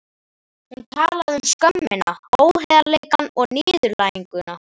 Hún talaði um skömmina, óheiðarleikann og niðurlæginguna.